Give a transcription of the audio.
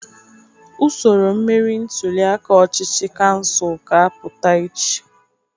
Usoro mmeri ntuliaka ọchịchị kansụl ka apụta echi.